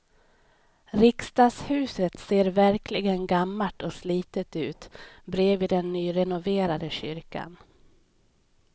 Riksdagshuset ser verkligen gammalt och slitet ut bredvid den nyrenoverade kyrkan.